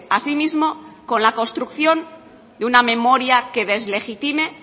a sí mismo con la construcción de una memoria que deslegitime